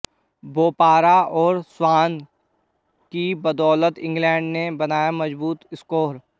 बोपारा और स्वान की बदौलत इंग्लैंड ने बनाया मजबूत स्कोर